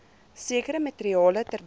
sekere materiale terwyl